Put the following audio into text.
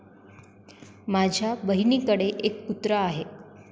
माझ्या बहिणीकडे एक कुत्रा आहे.